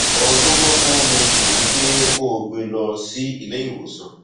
ohun tó bọgbọn mu jù ni pé kó o gbé e lọ sí ilé ìwòsàn